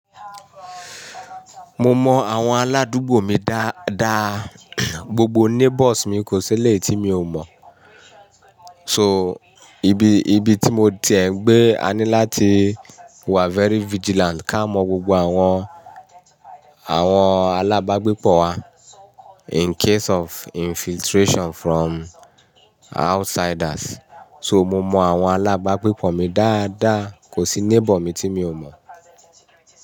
Mo mọ àwọn aládùúgbò mi dáadáa, gbogbo neighbours mi kò seléyi tí mi ò mọ̀. So ibi, ibi tí mo ti ẹ̀ ń gbé, a ní láti wà very vigilant ká mọ gbogbo àwọn, àwọn alábágbépọ̀ wa in case of infiltration from outsiders. So mo mọ àwọn alábágbépọ̀ mi dáadáa, kò sí neighbour mi tí mi ò mọ̀.